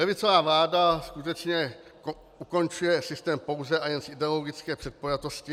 Levicová vláda skutečně ukončuje systém pouze a jen z ideologické předpojatosti.